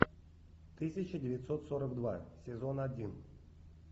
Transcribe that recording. тысяча девятьсот сорок два сезон один